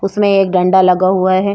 उसमें एक डंडा लगा हुआ है।